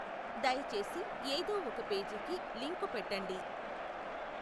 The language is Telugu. దయచేసి ఏదో ఒక పేజీకి లింకు పెట్టండి.